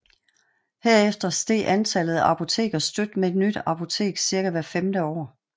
Herefter steg antallet af apoteker støt med et nyt apotek cirka hvert femte år